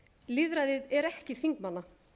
lýðræðið er ekki þingmanna